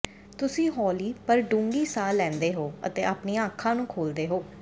ਤੁਸੀਂ ਹੌਲੀ ਪਰ ਡੂੰਘੀ ਸਾਹ ਲੈਂਦੇ ਹੋ ਅਤੇ ਆਪਣੀਆਂ ਅੱਖਾਂ ਨੂੰ ਖੋਲਦੇ ਹੋ